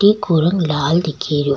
ईको रंग लाल दिखे रो।